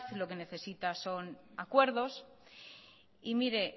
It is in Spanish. lo que necesita son acuerdos y mire